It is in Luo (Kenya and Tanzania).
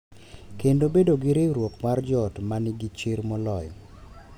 Kendo bedo gi riwruok mar joot ma nigi chir moloyo.